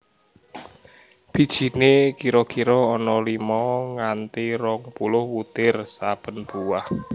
Bijiné kira kira ana limo nganthi rong puluh wutir saben buah